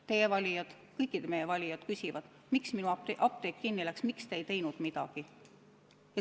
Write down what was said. Teie valijad, kõikide meie valijad küsivad, miks minu apteek kinni läks, miks te ei teinud midagi.